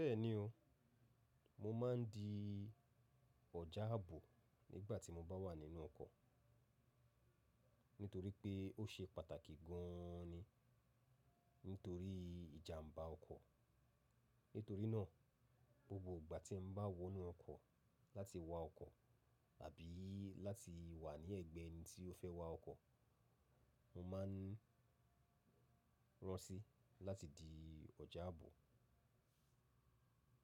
Bẹ́ẹ̀ni o, mo máa ń di ọ̀já ààbò nígbà tí mo bá wà nínú ọkọ̀ nítorí pé ó ṣe pàtàkì gan an ni nítorí ìjàmbá ọkọ̀. Nítorí náà, gbogbo ìgbà tí n bá wọ inú ọkọ̀ láti wa ọkọ̀ àbí láti wà ní ẹ̀gbẹ́ ẹni tí ó fẹ́ wá ọkọ̀, mo máa ń rọ́nsí láti di ọjà ààbò.